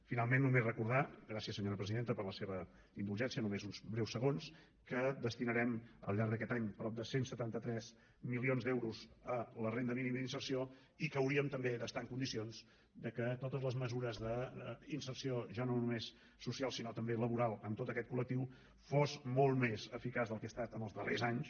finalment només recordar gràcies senyora presidenta per la seva indulgència només uns breus segons que destinarem al llarg d’aquest any prop de cent i setanta tres milions d’euros a la renda mínima d’inserció i que hauríem també d’estar en condicions perquè totes les mesures d’inserció ja no només socials sinó també laborals en tot aquest col·del que han estat en els darrers anys